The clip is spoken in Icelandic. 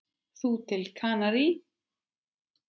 Þú til Kanarí?